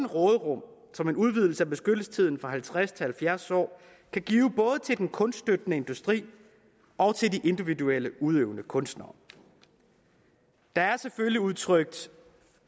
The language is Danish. råderum som en udvidelse af beskyttelsestiden fra halvtreds til halvfjerds år kan give både til den kunststøttende industri og til de individuelle udøvende kunstnere der er selvfølgelig udtrykt